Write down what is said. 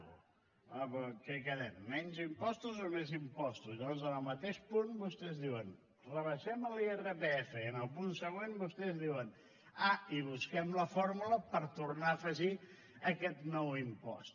home però en què quedem menys impostos o més impostos llavors en el mateix punt vostès diuen rebaixem l’irpf i en el punt següent vostès diuen ah i busquem la fórmula per tornar a afegir aquest nou impost